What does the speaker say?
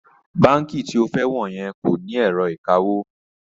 Báǹkì tí o fẹ́ wọ̀ yẹn kò ní ẹ̀rọ ìkawó